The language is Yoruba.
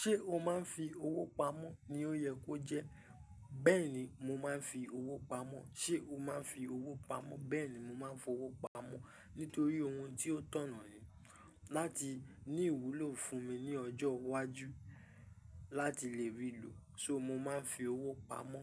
ṣé o máa ń fi owó pamọ́ ni ó yẹ kó jẹ́, bẹ́ẹ̀ni mo máa ń fi owó pamọ́. Ṣé o máa ń fi owó pamọ́? Bẹ́ẹ̀ni mo máa ń fi owó pamọ́ nítorí ohun tí ó tọ̀nà ni láti ní ìwúlò fún mi ní ọjọ́ iwájú láti lè rí ìlò. So mo máa ń fi owó pamọ́